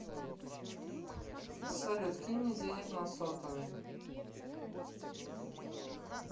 салют кинь мне денег на сотовый